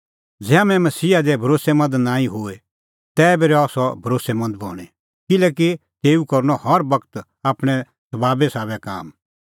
ज़ै हाम्हैं मसीहा लै भरोस्सैमंद नांईं बी होए तैबी रहा सह भरोस्सैमंद बणीं किल्हैकि तेऊ करनअ हर बगत आपणैं सभाबे साबै काम